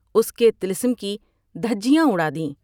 اس کے طلسم کی دھجیاں اڑاد ہیں ۔